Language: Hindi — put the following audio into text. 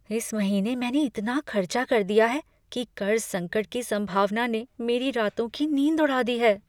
इस महीने मैंने इतना खर्चा कर दिया है कि क़र्ज़ संकट की सम्भावना ने मेरी रातों की नींद उड़ा दी है।